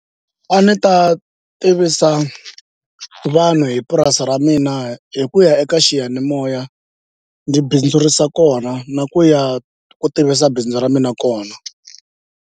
A ndzi ta tivisa vanhu hi purasi ra mina hi ku ya eka xiyanimoya ndzi bindzurisa kona na ku ya ku tivisa bindzu ra mina kona.